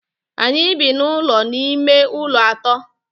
Anyị bi n'ụlọ ime ụlọ atọ.